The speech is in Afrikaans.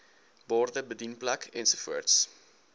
borde bedienplek ensovoorts